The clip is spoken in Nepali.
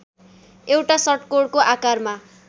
एउटा षट्कोणको आकारमा